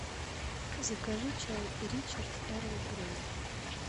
закажи чай ричард эрл грей